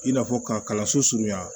I n'a fɔ ka kalanso surunya